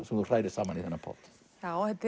sem þú hrærir saman í þennan pott þetta